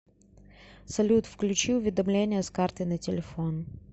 салют включи уведомления с карты на телефон